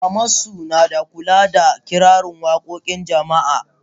Maman su na kuka da tana kirari wakokin jama'a.